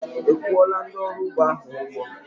Ị́ kwuọla ndị ọrụ ugbo ahụ ụgwọ?